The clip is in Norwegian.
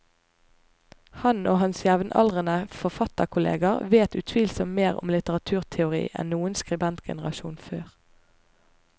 Han og hans jevnaldrende forfatterkolleger vet utvilsomt mer om litteraturteori enn noen skribentgenerasjon før.